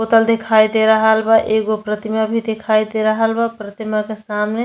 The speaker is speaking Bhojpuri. तल दिखाई दे रहाल बा। एगो प्रतिमा भी दिखाई दे रहल बा। प्रतिमा के सामने --